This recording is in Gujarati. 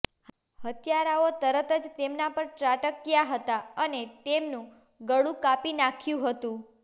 હત્યારાઓ તરત જ તેમના પર ત્રાટક્યા હતા અને તેમનું ગળું કાપી નાખ્યું હતું